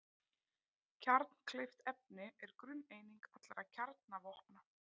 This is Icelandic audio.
Kjarnkleyft efni er grunneining allra kjarnavopna.